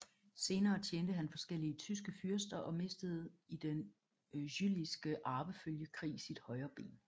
Senere tjente han forskellige tyske fyrster og mistede i Den Jülichske Arvefølgekrig sit højre ben